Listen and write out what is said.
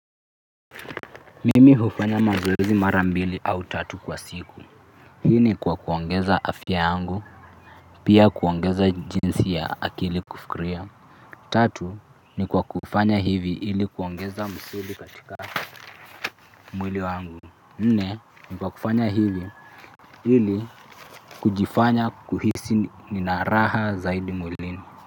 Mimi hufanya mazoezi mara mbili au tatu kwa siku. Hii ni kwa kuongeza afya yangu, pia kuongeza jinsi ya akili kufikiria. Tatu ni kwa kufanya hivi ili kuongeza misuli katika mwili wangu. Nne ni kwa kufanya hivi ili kujifanya kuhisi raha mwilini.